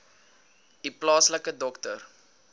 u plaaslike dokter